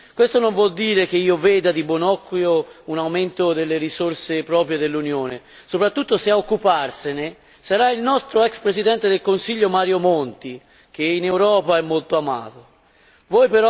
Questo non vuol dire che io veda di buon occhio un aumento delle risorse proprie dell'Unione, soprattutto se ad occuparsene sarà il nostro ex presidente del Consiglio Mario Monti, molto amato in Europa.